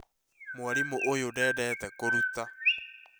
Mwarimũ ũyũ ndendete kũruta